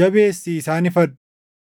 jabeessii isaan ifadhu.